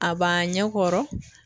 A b'an ɲɛ kɔrɔ